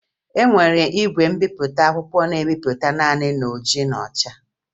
E nwere igwe mbipụta akwụkwọ na-ebipụta naanị n'oji na ọcha